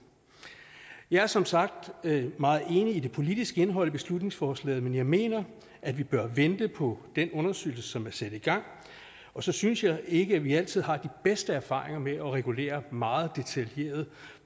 jeg er som sagt meget enig i det politiske indhold i beslutningsforslaget men jeg mener at vi bør vente på den undersøgelse som er sat i gang og så synes jeg ikke at vi altid har de bedste erfaringer med at regulere meget detaljeret